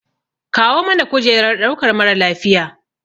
Kawo mana kujerar ɗaukar mara lafiya.